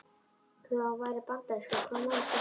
Og þó hann væri bandarískur, hvaða máli skipti það?